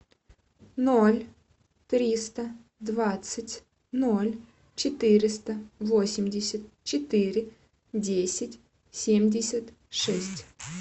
ноль триста двадцать ноль четыреста восемьдесят четыре десять семьдесят шесть